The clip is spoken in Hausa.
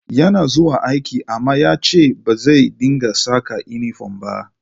Yana zuwa aiki amma ya ce ba zai dinga saka inifom ba